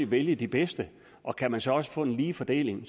vælge de bedste og kan man så også få en ligelig fordeling